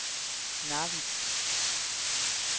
Narvik